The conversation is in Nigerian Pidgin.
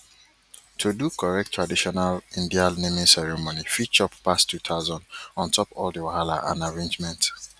to do correct traditional indian naming ceremony fit chop pass 2000 on top all the wahala and arrangement